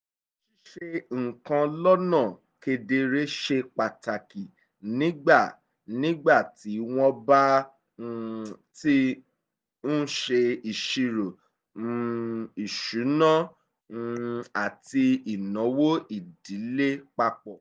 ṣíṣe nǹkan lọ́nà kedere ṣe pàtàkì nígbà nígbà tí wọ́n bá um ti ń ṣe ìṣírò um ìṣúná àti ìnáwó ìdílé papọ̀